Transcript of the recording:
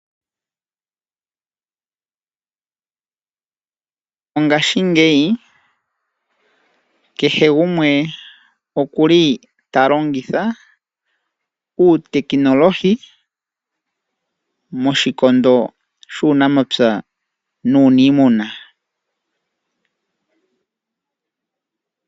Mongashingeyi kehe gumwe okuli talongitha uutekinolohi moshikondo shuunamapya nuuniimuna.